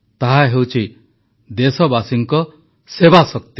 ତାହା ହେଉଛି ଦେଶବାସୀଙ୍କ ସେବାଶକ୍ତି